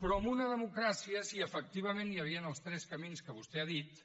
però en una democràcia si efectivament hi havien els tres camins que vostè ha dit